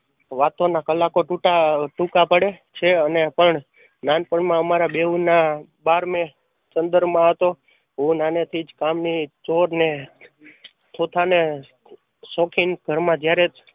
વાતો ના કલાકો તૂટા અ ટૂંકા પડે છે અને પણ નાનપણ માં અમારા બેવ ના બારમે માં હતો. હું નાનેથી જ કામ ની ચોર ને ની શોખીન ઘર માં જયારે